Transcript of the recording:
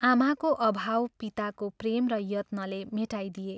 आमाको अभाव पिताको प्रेम र यत्नले मेटाइदिए।